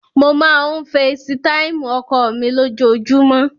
Mo máa ń feesitáìmù ọkọ mi lójoojúmọ́.